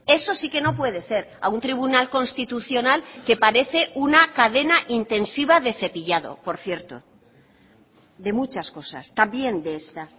eso sí que no puede ser a un tribunal constitucional que parece una cadena intensiva de cepillado por cierto de muchas cosas también de esta